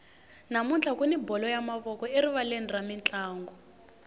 namuntlha kuni bolo ya mavoko erivaleni ra mintlangu